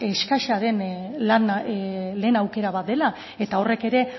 eskasa den lehen aukera bat dela eta horrek ere